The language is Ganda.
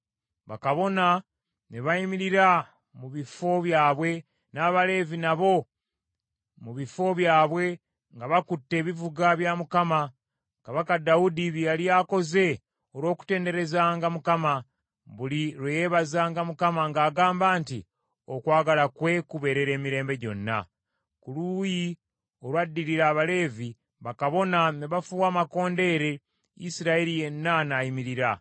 Bakabona ne bayimirira mu bifo byabwe, n’Abaleevi nabo mu bifo byabwe nga bakutte ebivuga bya Mukama , kabaka Dawudi bye yali akoze olw’okutenderezanga Mukama , buli lwe yeebazanga Mukama ng’agamba nti, “Okwagala kwe kubeerera emirembe gyonna.” Ku luuyi olwaddirira Abaleevi, bakabona ne bafuuwa amakondeere, Isirayiri yenna n’ayimirira.